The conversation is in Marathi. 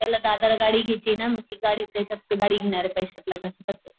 त्याला दादाला गाडी घ्यायचीय ना मग ती गाडी गाडी घेणारे पैश्यात लग्नाच्या खर्च्याचा